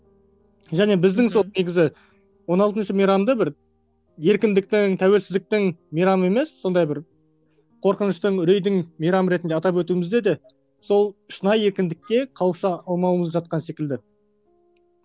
және біздің сол негізі он алтыншы мейрамды бір еркіндіктің тәуелсіздіктің мейрамы емес сондай бір қорқыныштың үрейдің мейрамы ретінде атап өтуімізде де сол шынайы еркіндікке қауыша алмауымыз жатқан секілді